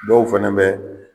Dɔw fana bɛ